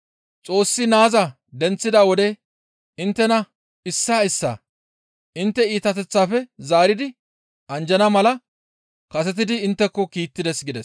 Xoossi naaza denththida wode inttena issaa issaa intte iitateththaafe zaaridi anjjana mala kasetidi intteko kiittides» gides.